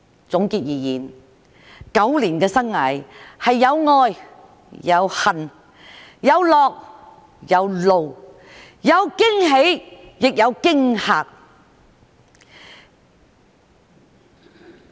總結而言 ，9 年的生涯是有愛、有恨、有樂、有怒、有驚喜亦有驚嚇。